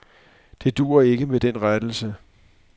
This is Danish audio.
Det duer ikke med den rettelse.